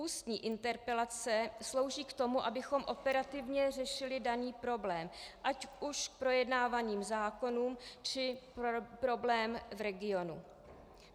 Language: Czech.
Ústní interpelace slouží k tomu, abychom operativně řešili daný problém, ať už k projednávaným zákonům, či problém v regionu.